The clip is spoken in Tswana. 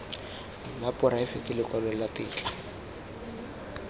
la poraefete lekwalo la tetla